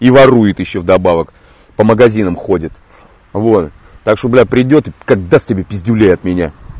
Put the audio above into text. и ворует ещё вдобавок по магазинам ходят вот так что бляль придёт как даст тебе пиздюлей от меня